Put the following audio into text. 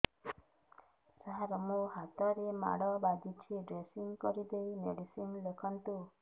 ସାର ମୋ ହାତରେ ମାଡ଼ ବାଜିଛି ଡ୍ରେସିଂ କରିଦେଇ ମେଡିସିନ ଲେଖନ୍ତୁ